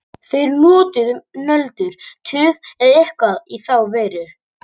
Þau eru notuð um nöldur, tuð eða eitthvað í þá veru.